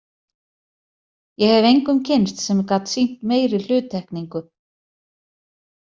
Ég hef engum kynnst sem gat sýnt meiri hluttekningu.